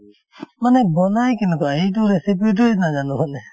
মানে বনাই কেনেকুৱা সেইটো recipe তোয়ে নাজানো মানে